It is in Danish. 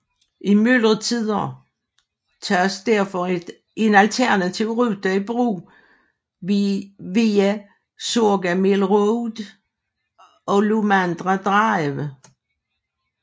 I myldretider tages derfor en alternativ rute i brug via Sugarmill Road og Lomandra Drive